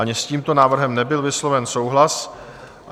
Ani s tímto návrhem nebyl vysloven souhlas.